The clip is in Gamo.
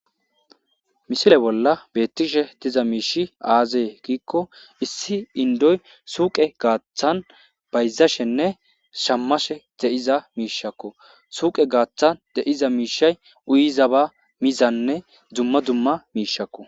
misile bolla beettishe tiza miishi aazee giikko issi indoy suuqe gaaththan bayzashenne shammashe de7iza miishakko suuqe gaaththan de7iza miishay uyiza ba mizanne dumma dumma miishakko